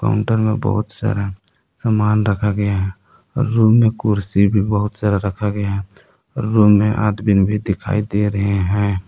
अंदर में बहुत सारा सामान रखा गया है रूम में कुर्सी भी बहुत सारा रखा गया है और रूम में आदमीन भी दिखाई दे रहे हैं।